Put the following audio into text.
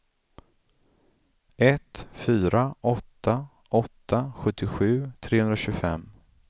ett fyra åtta åtta sjuttiosju trehundratjugofem